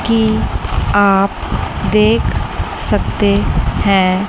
की आप देख सकते हैं।